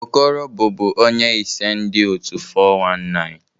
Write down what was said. Okoro bụbu onye ise ndu otu 419